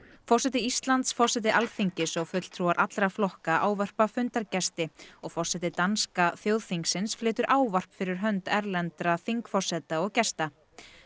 forseti Íslands forseti Alþingis og fulltrúar allra flokka ávarpa fundargesti og forseti danska þjóðþingsins flytur ávarp fyrir hönd erlendra þingforseta og gesta